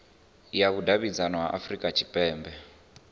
ya vhudavhidzano ya afurika tshipembe